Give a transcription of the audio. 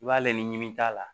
I b'ale ni ɲimi t'a la